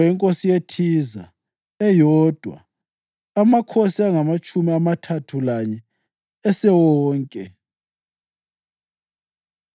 inkosi yeThiza, eyodwa. Amakhosi angamatshumi amathathu lanye esewonke.